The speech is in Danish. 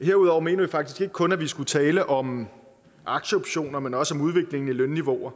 herudover mener vi faktisk ikke kun at vi skulle tale om aktieoptioner men også om udviklingen i lønniveauer